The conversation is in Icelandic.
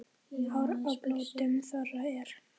Hár á blótum þorra er.